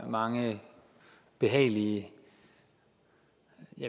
mange behagelige